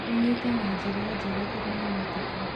kũnyita na njĩra njega ĩranyitĩka.